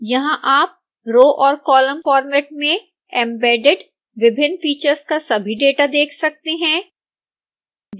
यहां आप रो और कॉलम फॉर्मेट में एम्बेडेड विभिन्न फीचर्स का सभी डेटा देख सकते हैं